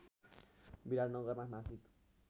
विराटनगरमा मासिक